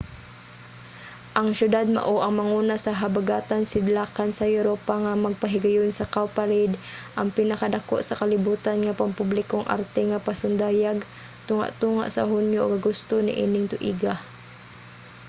ang siyudad mao ang manguna sa habagatan-sidlakan sa europa nga magpahigayon sa cowparade ang pinakadako sa kalibutan nga pampublikong arte nga pasundayag tunga-tunga sa hunyo ug agosto niining tuiga